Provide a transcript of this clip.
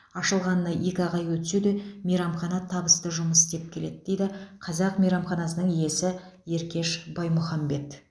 ашылғанына екі ақ ай өтсе де мейрамхана табысты жұмыс істеп келеді дейді қазақ мейрамханасының иесі еркеш баймұхамбет